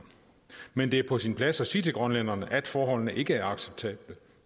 men det er på sin plads at sige til grønlænderne at forholdene ikke er acceptable